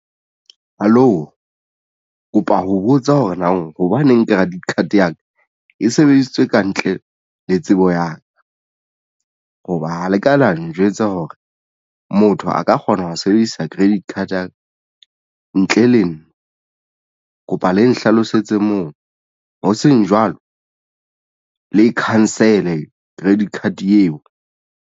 Hallo, kopa ho botsa hore na hobaneng ke credit card ya ka e sebedisitswe kantle le tsebo ya ka hoba ha le ka la njwetsa hore motho a ka kgona ho sebedisa credit card card ntle le nna kopa le nhlalosetse moo ho seng jwalo le cancel credit card eo.